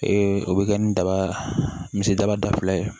o bɛ kɛ ni daba misidaba da fila ye